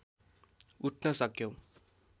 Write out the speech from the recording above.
उठ्न सक्यो